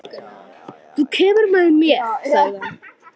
Þú kemur með mér, sagði hann.